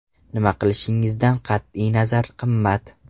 Nima qilishingizdan qat’iy nazar qimmat.